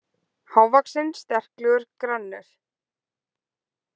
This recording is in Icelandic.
Hávaxinn, sterklegur, grannur.